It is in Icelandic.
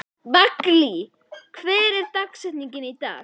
Valgý, hver er dagsetningin í dag?